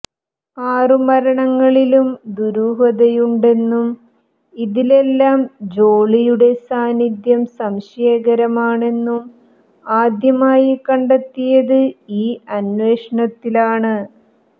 ആറു മരണങ്ങളിലും ദുരൂഹതയുണ്ടെന്നും ഇതിലെല്ലാം ജോളിയുടെ സാന്നിധ്യം സംശയകരമാണെന്നും ആദ്യമായി കണ്ടെത്തിയത് ഈ അന്വേഷണത്തിലാണ്